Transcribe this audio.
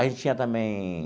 A gente tinha também